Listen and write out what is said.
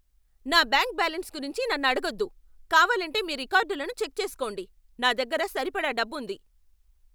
నా bank balance గురించి నన్ను అడగొద్దు. కావాలంటే మీ రికార్డులను చెక్ చేసుకోండి. నా దగ్గర సరిపడా డబ్బుంది.